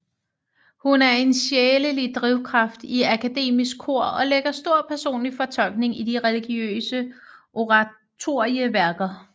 Hun er den sjælelige drivkraft i Akademisk Kor og lægger stor personlig fortolkning i de religiøse oratorieværker